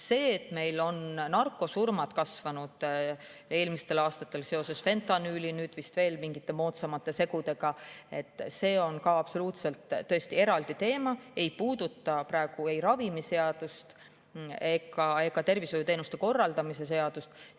See, et meil on narkosurmade eelmistel aastatel seoses fentanüüli ja nüüd vist veel mingite moodsamate segude tõttu kasvanud, on ka eraldi teema, see ei puuduta ei ravimiseadust ega tervishoiuteenuste korraldamise seadust.